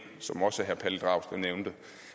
som også herre pelle dragsted nævnte